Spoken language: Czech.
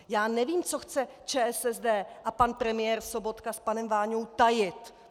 Já nevím, co chce ČSSD a pan premiér Sobotka s panem Váňou tajit.